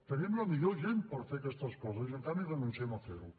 tenim la millor gent per fer aquestes coses i en canvi renunciem a fer ho